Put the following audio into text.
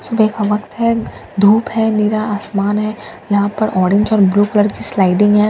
सुबह का वक्त है धूप है नीला आसमान है यहां पर ऑरेंज और ब्लू कलर की स्लाइडिंग है --